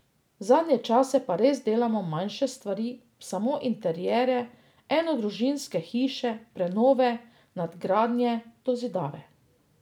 Zadnje čase pa res delamo manjše stvari, samo interierje, enodružinske hiše, prenove, nadgradnje, dozidave.